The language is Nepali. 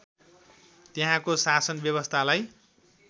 त्यहाँको शासन व्यवस्थालाई